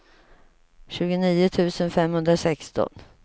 tjugonio tusen femhundrasexton